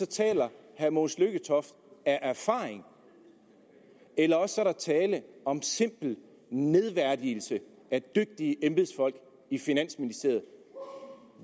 taler herre mogens lykketoft af erfaring eller også er der tale om simpel nedværdigelse af dygtige embedsfolk i finansministeriet